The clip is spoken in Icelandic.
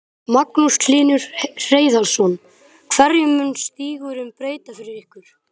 Magnús Hlynur Hreiðarsson: Hverju mun stígurinn breyta fyrir ykkur?